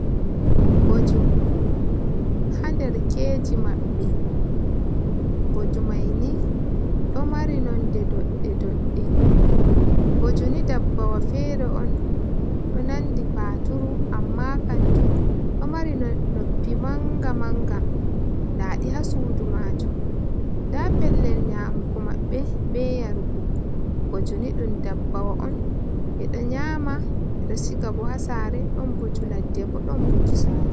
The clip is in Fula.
Booju, ha nderkeeji maɓɓe, booju mayni ɗo mari nonde doɗde doɗde booju ni, dabbawa fere on, ɗo nandi paturu amma kanjuum ɗo mari noppi manga manga, daaɗi ha suudu maajuum, da pellel nyamgo maɓɓe, be yarugo, booju ni ɗum dabbawa on eɗo nyaama eɗo sigabo ha saare ɗon booju ladde bo ɗon booju saare.